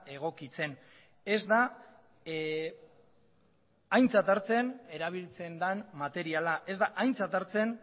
egokitzen ez da aintzat hartzen erabiltzen den materiala ez da aintzat hartzen